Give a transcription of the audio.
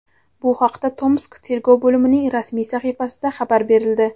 Bu haqda Tomsk tergov bo‘limining rasmiy sahifasida xabar berildi.